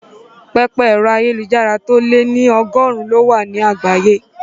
Pẹpẹ ẹ̀rọ ayélujára tó lé ní ọgọ́rùn-ún ló wà ní àgbáyé